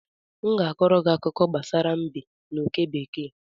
M ga-akọọrọ gị akụkọ ifo gbasara mbe na oke bekee